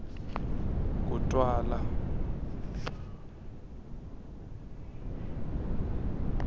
kutwala